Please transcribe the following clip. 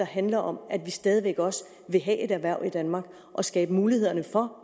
handler om at vi stadig væk også vil have et erhverv i danmark og skabe mulighederne for